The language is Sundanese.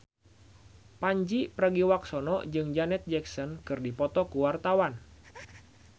Pandji Pragiwaksono jeung Janet Jackson keur dipoto ku wartawan